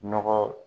Nɔgɔ